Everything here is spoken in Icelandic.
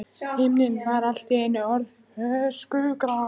Himinninn var allt í einu orðinn öskugrár.